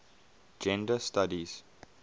gender studies